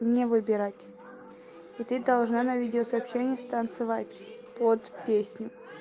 мне выбирать и ты должна на видео сообщение с танцевать под песню